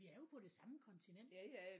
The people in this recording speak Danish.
Vi er jo på det samme kontinent